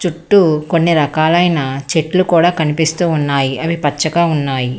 కొన్ని రకాలైన చెట్లు కూడా కనిపిస్తూ ఉన్నాయి అవి పచ్చగా ఉన్నాయి.